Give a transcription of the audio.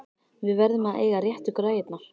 Við verðum að eiga réttu græjurnar!